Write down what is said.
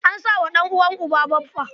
An sa wa ɗan'uwan uba suna baffa.